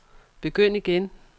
begynd igen